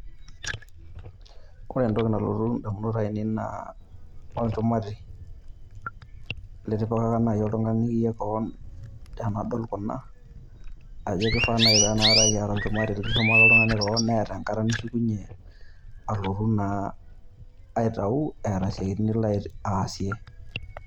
Kore entoki nalotu inamunot ainei naa olchumati, litipikaka naaji oltung'ani kewon deal Kuna ajo kenare naaji Neeta oltung'ani olchumati litushumaka keon engata nishukunyie alotu naa aitau eeta esiatin Nilo aasie.